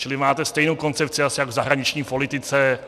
Čili máte stejnou koncepci asi jak v zahraniční politice.